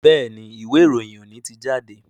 Béèni Ìwé-ìròyìn òní tí jáde.